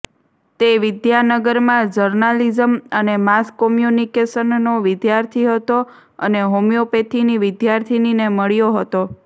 તે વિદ્યાનગરમાં જર્નાલિઝમ અને માસ કોમ્યુનિકેશનનો વિદ્યાર્થી હતો અને હોમિયોપથીની વિદ્યાર્થિનીને મળ્યો હતો